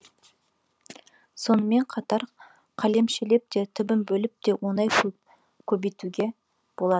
сонымен қатар қалемшелеп те түбін бөліп те оңай көбейтуге болады